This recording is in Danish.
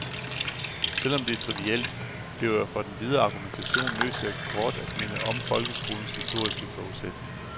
Selv om det er trivielt, bliver jeg for den videre argumentation nødt til kort at minde om folkeskolens historiske forudsætninger.